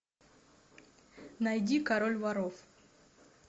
найди король воров